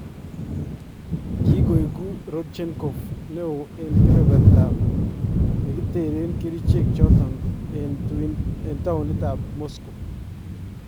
Kikoekuu Rodchenkov neon en kebeberta nekiteree kericheek choton en towunitab Moscow.